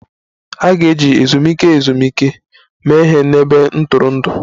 A ga-eji ezumike ezumike mee ihe n'ebe ntụrụndụ